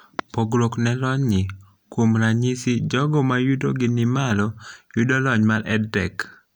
pogruok ne lony ni ( kuom ranyisi jogo mayuto gi ni malo yudo lony mar EdTech )